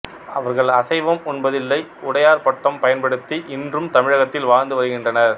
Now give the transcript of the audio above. அவர்கள் அசைவம் உண்பதில்லை உடையார் பட்டம் பயன்டுத்தி இன்றும் தமிழகத்தில் வாழ்ந்து வருகின்றனர்